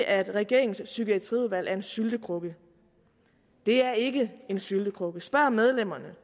at regeringens psykiatriudvalg er en syltekrukke det er ikke en syltekrukke spørg medlemmerne